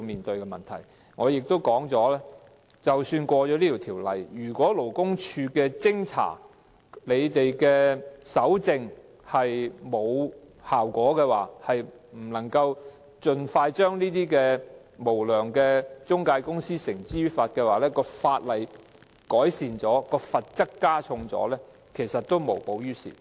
正如我先前所說，即使《條例草案》獲得通過，如果勞工處的偵查和搜證沒有效果，不能夠盡快將無良中介公司繩之於法，即使法例改善、罰則加重，其實也無補於事。